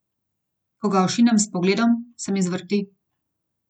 Ko ga ošinem s pogledom, se mi zvrti.